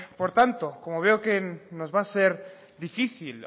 por tanto como veo que nos va a ser difícil